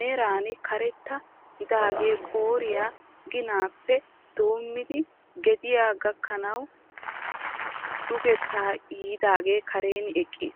meran karetta gidaagee qooriyaa ginaappe doommidi gaadiyaa gakkanawu dugetta yiidagee karen eqqis.